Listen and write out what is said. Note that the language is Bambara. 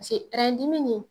Pase ɛrɛn dimi nin